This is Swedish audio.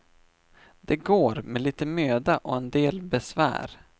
Det går, med lite möda och en del besvär.